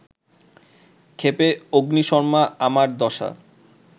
ক্ষেপে অগ্নিশর্মা আমার দশা